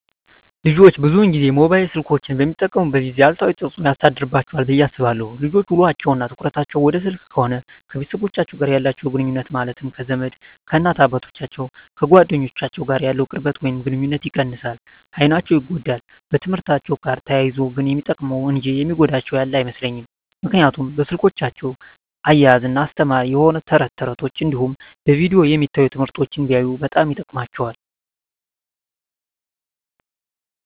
ልጆች ብዙን ጊዜ ሞባይል ስልኮችን በሚጠቀሙበት ጊዜ አሉታዊ ተፅዕኖ ያሳድርባቸዋል ብየ አስባለሁ። ልጆች ውሎቸው እና ትኩረታቸውን ወደ ስልክ ከሆነ ከቤተሰቦቻቸው ጋር ያላቸውን ግኑኙነት ማለትም ከዘመድ፣ ከእናት አባቶቻቸው፣ ከጓደኞቻቸው ጋር ያለውን ቅርበት ወይም ግኑኝነት ይቀንሳል፣ አይናቸው ይጎዳል፣ በትምህርትአቸው ጋር ተያይዞ ግን የሚጠቅሙ እንጂ የሚጎዳቸው ያለ አይመስለኝም ምክንያቱም በስልኮቻቸው እያዝናና አስተማሪ የሆኑ ተረት ተረቶች እንዲሁም በቪዲዮ የሚታዩ ትምህርቶችን ቢያዩ በጣም ይጠቅማቸዋል።